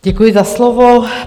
Děkuji za slovo.